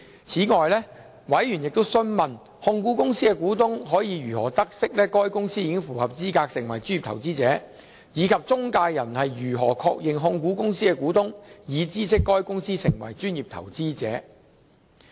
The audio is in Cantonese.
此外，委員亦詢問控股公司的股東可以如何得悉該公司符合資格成為專業投資者，以及中介人如何確認控股公司的股東已知悉該公司成為專業投資者。